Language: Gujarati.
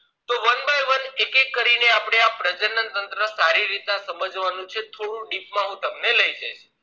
તોએક એક કરીને આપણે આ પ્રજનનતંત્ર સમજવાનું છે થોડું deep માં હું તમને લઇ જઈશ